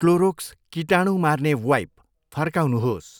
Clorox कीटाणु मार्ने wipe फर्काउनुहोस्।